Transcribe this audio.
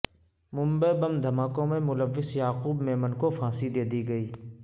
Mumbai bomb دھماکوں میں ملوث یعقوب میمن کو پھانسی دے دی گئی